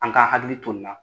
An ka hakili to na